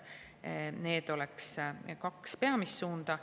Need oleks kaks peamist suunda.